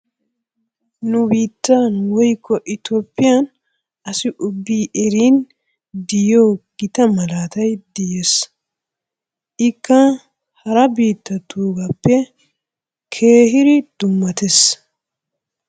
Nu biittan woykko Itoophphiyan asi ubbi eriin tiyiyo gitta malatay de'ees. Ikka hara biittatuggappe keehir dummates